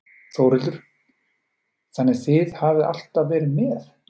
Þórhildur: Þannig þið hafið alltaf verið með?